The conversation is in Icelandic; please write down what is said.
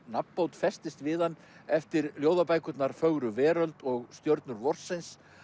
nafnbót festist við hann eftir ljóðabækurnar fögru veröld og stjörnur vorsins